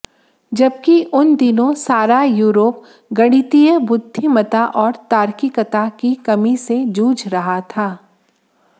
जबकि उन दिनों सारा यूरोप गणितीय बुद्धिमता और तार्किकता की कमी से जूझ रहा था